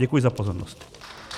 Děkuji za pozornost.